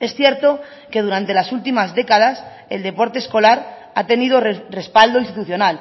es cierto que durante las últimas décadas el deporte escolar ha tenido respaldo institucional